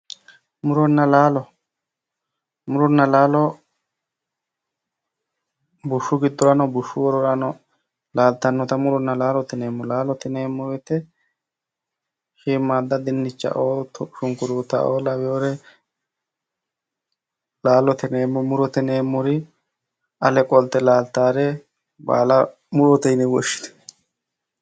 Muronna laalo, muronna laalo bushu giddorano bushu wororano laalittanotta muronna laalo yineemmo, laalote yineemmo woyte shiimada dinichaoo, shukkuruttao lawinore laalote yineemmo, murote yineemmori ale qolite laalittanore baalla murote yinne woshshineemmo